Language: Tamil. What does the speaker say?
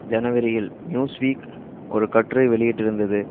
ஜனவரியில் நியூஸ் வீக் ஒரு கட்டுரை வெளியிட்டிருந்தது